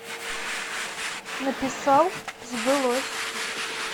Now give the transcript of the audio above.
написал сбылось